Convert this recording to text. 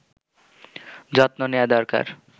যত্ম নেয়া দরকার